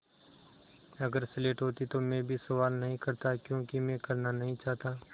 अगर स्लेट होती तो भी मैं सवाल नहीं करता क्योंकि मैं करना नहीं चाहता